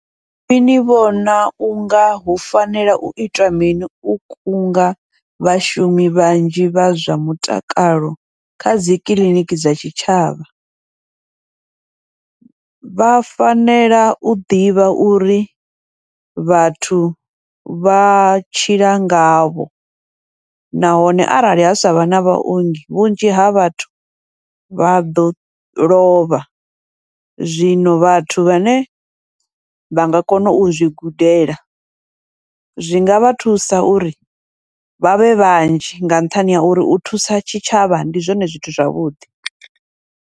Iṅwi ni vhona unga hu fanela u itwa mini u kunga vhashumi vhanzhi vha zwa mutakalo kha dzikiḽiniki dza tshitshavha, vha fanela u ḓivha uri vhathu vha tshila ngavho, nahone arali ha savha na vhaongi vhunzhi ha vhathu vha ḓo lovha. Zwino vhathu vhane vha nga kona u zwi gudela, zwi ngavha thusa uri vhavhe vhanzhi nga nṱhani ha uri u thusa tshitshavha ndi zwone zwithu zwavhuḓi.